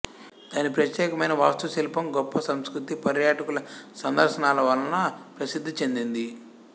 దాని ప్రత్యేకమైన వాస్తుశిల్పం గొప్ప సంస్కృతి పర్యాటకుల సందర్సనల వలన ప్రసిద్ధి చెందింది